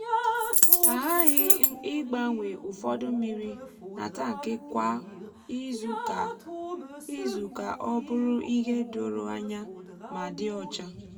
a ghaghị ịgbanwe ụfọdụ mmiri n’atankị kwa izu ka o bụrụ ihe doro anya ma dị ọcha.